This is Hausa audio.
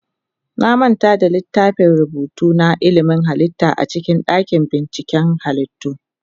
Na manta da littafin rubutu na ilimin halitta a cikin dakin binciken halittu.